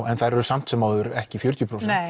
en þær eru samt sem áður ekki fjörutíu prósent